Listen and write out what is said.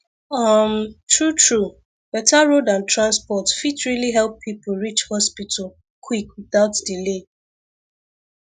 um truetrue better road and transport fit really help people reach hospital quick without delay